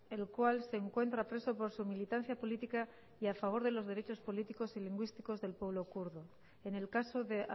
el cual se encuentra preso por su militancia política y a favor de los derechos políticos y lingüísticos del pueblo kurdo en el caso de